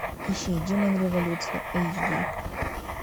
ищи демон революции эйч ди